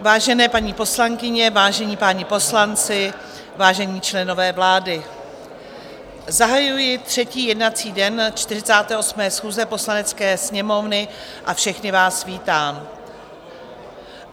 Vážené paní poslankyně, vážení páni poslanci, vážení členové vlády, zahajuji třetí jednací den 48. schůze Poslanecké sněmovny a všechny vás vítám.